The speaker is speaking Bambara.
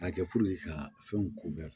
A kɛ ka fɛnw ko bɛɛ